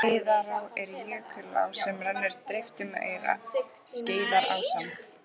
Skeiðará er jökulá sem rennur dreift um aura, Skeiðarársand.